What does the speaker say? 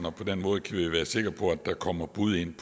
og på den måde kan vi være sikre på at der kommer bud ind